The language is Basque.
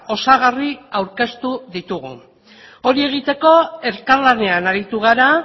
osagarri aurkeztu ditugu hori egiteko elkarlanean aritu gara